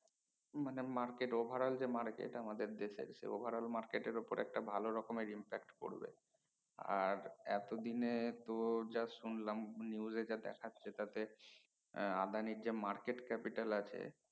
মানে overall market যে market আমাদের দেশে overall market উপরে একটা ভালো রকমের impact পরবে আর এতো দিনে তো যা শুনলাম news যা দেখাচ্ছে তাতে আহ আদানির যে market capital আছে